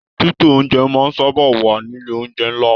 Tító oúnjẹ máa n sábà wà nílé oúnjẹ nlá.